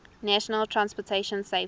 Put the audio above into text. national transportation safety